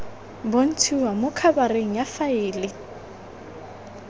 bontshiwa mo khabareng ya faele